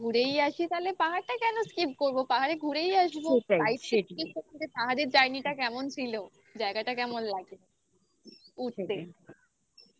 skip করবো? পাহাড়ে ঘুরেই আসবো? পাহাড়ের journey টা কেমন ছিল? জায়গাটা কেমন লাগলো?